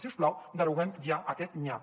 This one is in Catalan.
si us plau deroguem ja aquest nyap